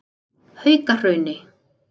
Haukahrauni